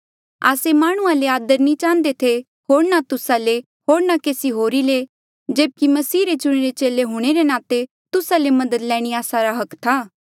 आस्से माह्णुंआं ले आदर नी चाहंदे थे होर ना तुस्सा ले होर ना केसी होरी ले जेब्की मसीह रे चुणिरा चेला हूंणे रे नाते तुस्सा ले मदद लैणी आस्सा रा अधिकार था